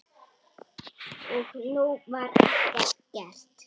Og nú var ekkert gert.